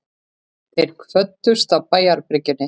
Þeir kvöddust á bæjarbryggjunni.